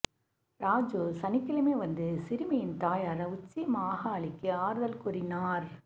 ராஜு சனிக்கிழமை வந்து சிறுமியின் தாயாா் உச்சிமாகாளிக்கு ஆறுதல் கூறினாா்